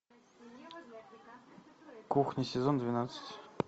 кухня сезон двенадцать